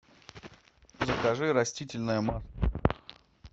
закажи растительное масло